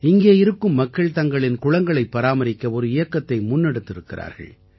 இங்கே இருக்கும் மக்கள் தங்களின் குளங்களைப் பராமரிக்க ஒரு இயக்கத்தை முன்னெடுத்திருக்கிறார்கள்